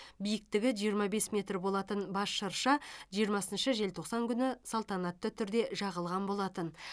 биіктігі жиырмам бес метр болатын бас шырша жиырмасыншы желтоқсан күні салтанатты түрде жағылған болатын